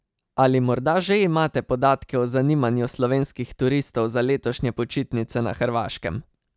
Ali morda že imate podatke o zanimanju slovenskih turistov za letošnje počitnice na Hrvaškem?